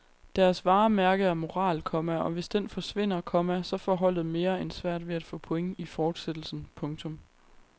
Deres varemærke er moral, komma og hvis den forsvinder, komma så får holdet mere end svært ved at få point i fortsættelsen. punktum